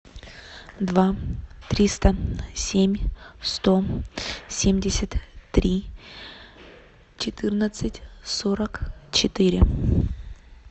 два триста семь сто семьдесят три четырнадцать сорок четыре